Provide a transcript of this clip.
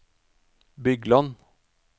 Bygland